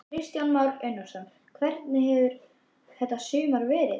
Kristján Már Unnarsson: Hvernig hefur þetta sumar verið?